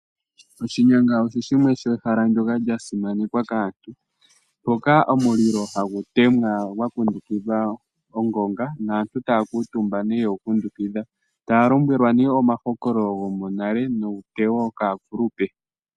Oshinyanga osho ehala ndyoka lyasimanekwa kaantu, mpoka omulilo hagu temwa gwakundukidha ongonga naantu taya kala omutumba yegu kundukidha, yo taya lombwelwa omahokololo gonale nuutewo kaakulupe.